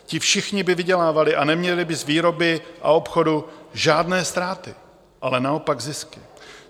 Ti všichni by vydělávali a neměli by z výroby a obchodu žádné ztráty, ale naopak zisky.